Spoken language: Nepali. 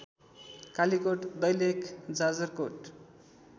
कालिकोट दैलेख जाजरकोट